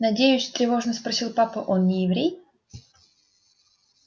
надеюсь тревожно спросил папа он не еврей